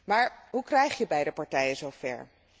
Maar hoe krijg je beide partijen zo ver?